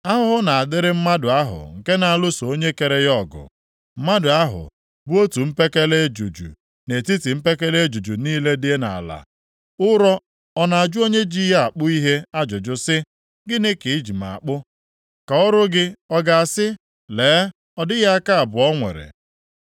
“Ahụhụ na-adịrị mmadụ ahụ nke na-alụso onye kere ya ọgụ, mmadụ ahụ bụ otu mpekele ejuju nʼetiti mpekele ejuju niile dị nʼala. Ụrọ ọ na-ajụ onye ji ya akpụ ihe ajụjụ sị, ‘Gịnị ka i ji m akpụ?’ Ka ọrụ gị ọ ga-asị, ‘Lee, ọ dịghị aka abụọ o nwere’?